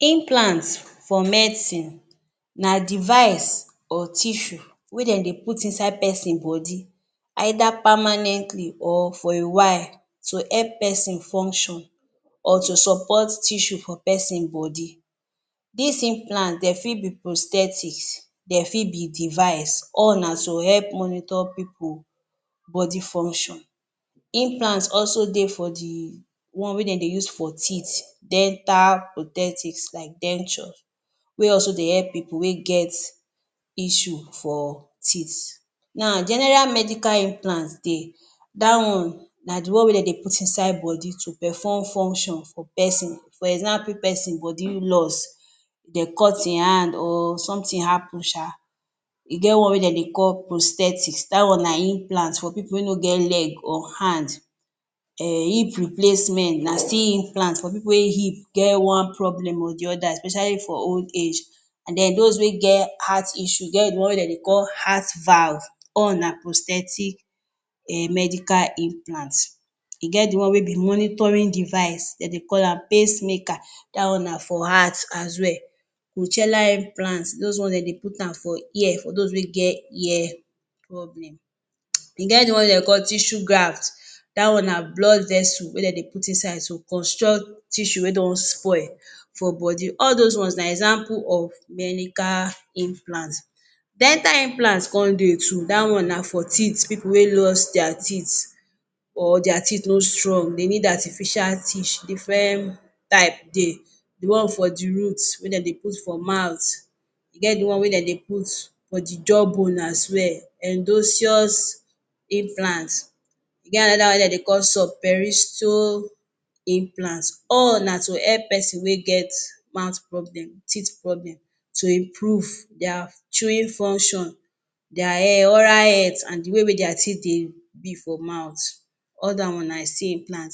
Implant for medicine na device or tissue wey den dey put inside pesin body, either permanently or for a while to help pesin function or to support tissue for pesin body. This implant dey fi be prosthetic, dem fi be device, all na to help monitor pipu body function. Implant also dey for the one wey den dey use for teeth, dental protectics like dentures, wey also dey help pipu wey get isssue for teeth. Now general medical implants dey, that one na the one wey den dey put inside body to perform functions for pesin, for example, if pesin body lose, dey cut im hand or something happen sha, e get one wey den dey call prosthetics, that one na implant for pipu wey no get leg or hand. Hip replacement na still implant for pipu wey hip get one problem or the other especially for old age. And then those wey get heart issue, get the one wey den dey call heart valves all na prosthetic medical implants. E get the one wey be monitoring device, den dey call am pace maker, that one na for heart as well. Cochlear implants, those ones den dey put am for ear those wey get ear problem. E get the one wey den dey call tissue graft, that one na blood vessel wey den dey put inside to construct tissue wey don spoil for body. All those ones na example of medical implants, dental implants con de too, that one na for teeth, pipu wey lose their teeth or their teeth no strong they need artificial teeth, different type de. The one for the root, wey den dey put for mouth, e get the one wey den dey put for the jaw bone as well, endosseous implant. E get another one wey den dey call subperiosteal implant, all na to help pesin wey get mouth problem, teeth problem to improve their chewing function, their oral health and the way wey their teeth dey be for mouth, all that one na still implant.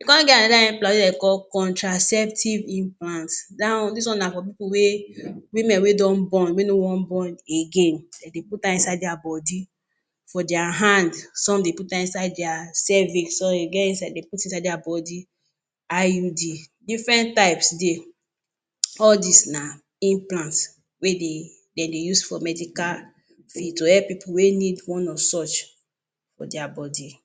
E con get another implant wey den dey call contraceptive implant, that one, this one na for pipu wey, women wey don born wey no wan born again, den dey put am inside their body, for their hand, some dey put am inside their cervix, some den get, dey put inside their body IUD, different types dey, all these na implants wey de, den dey use for medical fuel, to help pipu wey need one of such for their body.